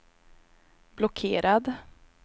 blockerad